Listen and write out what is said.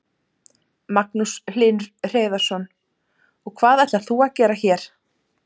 Magnús Hlynur Hreiðarsson: Og hvað ætlar þú að gera hér?